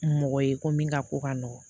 Mɔgɔ ye ko min ka ko ka nɔgɔ